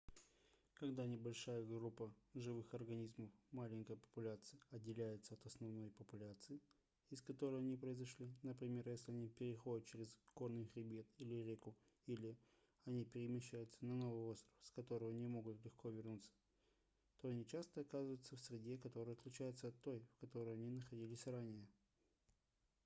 когда небольшая группа живых организмов маленькая популяция отделяется от основной популяции из которой они произошли например если они переходят через горный хребет или реку или если они перемещаются на новый остров с которого не могут легко вернуться то они часто оказываются в среде которая отличается от той в которой они находились ранее